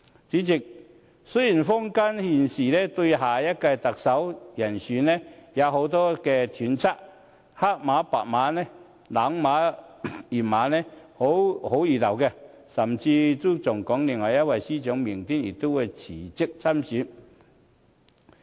主席，雖然坊間現時對下任特首人選有很多揣測，黑馬白馬、冷馬熱馬，好不熱鬧，甚至有說另一位司長明天也會辭職參選。